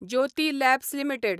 Jyoti labs limited